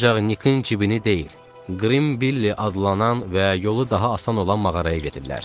Ancaq Nikin cibini deyil, Qrim Biliy adlanan və yolu daha asan olan mağaraya gedirlər.